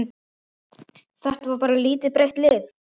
Þetta var lítið breytt lið?